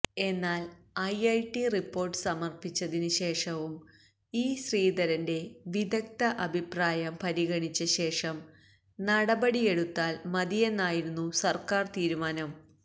എന്നാല് IIT report സമര്പ്പിച്ചതിന് ശേഷവും ഇ ശ്രീധരന്റെ വിദഗ്ധാ അഭിപ്രായം പരിഗണിച്ച ശേഷം നടപടിയെടുത്താല് മതിയെന്നായിരുന്നു സര്ക്കാര് തീരുമാനം